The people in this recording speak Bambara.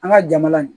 An ka jamana in